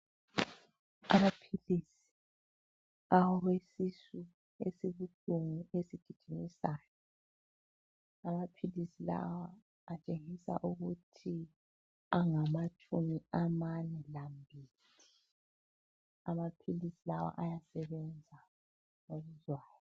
Amaphilisi awesisu esibuhlungu esigijimisayo, amaphilisi lawa atshengisa ukuthi angamatshumi amane lambili, amaphilisi lawa ayasebenza okuzwayo